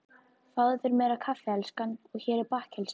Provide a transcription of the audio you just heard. Fáðu þér meira kaffi elskan og hér er bakkelsi.